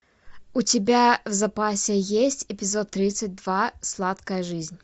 у тебя в запасе есть эпизод тридцать два сладкая жизнь